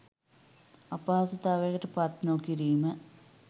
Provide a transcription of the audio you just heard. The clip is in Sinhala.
අපහසුතාවයකට පත් නොකිරීම